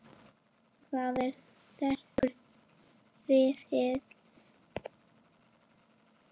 Og það er styrkur liðsins